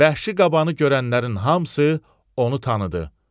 Vəhşi qabanı görənlərin hamısı onu tanıdı.